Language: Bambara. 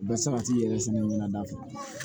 Bɛ sabati yɛrɛ sɛnɛ ɲɛnɛma fɛ